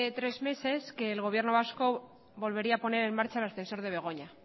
tres meses que el gobierno vasco volvería a poner en marcha el ascensor de begoña